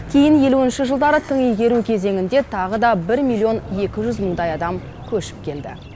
кейін елуінші жылдары тың игеру кезеңінде тағы да бір миллион екі жүз мыңдай адам көшіп келді